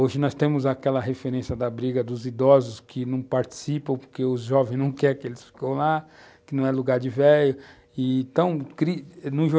Hoje nós temos aquela referência da briga dos idosos que não participam porque os jovens não querem que eles fiquem lá, que não é lugar de velho.